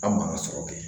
An man ka sɔrɔ kɛ